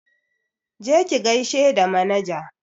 Je ki gaishe da manaja!